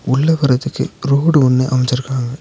உள்ள போறதுக்கு ரோடு ஒன்னு அமச்சிருக்காங்க.